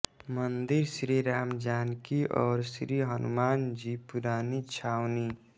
मंदिर श्री रामजानकी और श्री हनुमान जी पुरानी छावनी